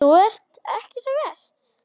Þú ert ekki sem verst.